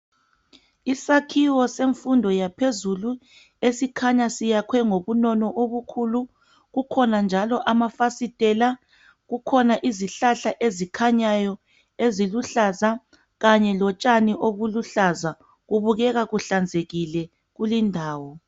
Isakhiwo semfundo yaphezulu esikhanya siyakhwe ngobunono obukhulu. Kukhona njalo amafasitela. Kukhona izihlahla ezikhanyayo eziluhlaza kanye lotshani obuluhlaza .Kubukeka kuhlanzekile kulindawo